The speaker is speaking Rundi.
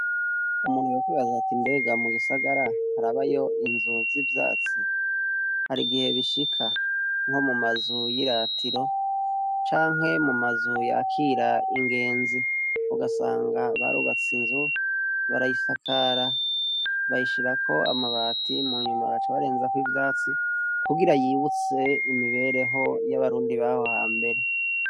Umuntu wokwibazaa ati imbega mu gisagara arabayo inzuzi vyatsi hari igihe bishika nko mu mazu y'iratiro canke mu mazuyakira ingenzi ugasanga barubatse inzu barayisakara bayishirako amabati mu nyuma gaca abarenzako ivyo atsi kugira yibutse imibereho y'abarundi baho ha mbere.